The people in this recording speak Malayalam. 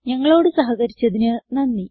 ഞങ്ങളോട് സഹകരിച്ചതിന് നന്ദി